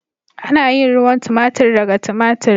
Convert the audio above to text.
Ana yin ruwan tomatir daga tomatir.